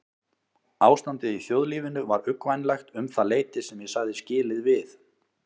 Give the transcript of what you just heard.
Ástandið í þjóðlífinu var uggvænlegt um það leyti sem ég sagði skilið við